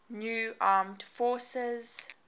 new armed forces